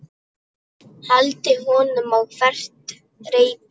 Hældi honum á hvert reipi.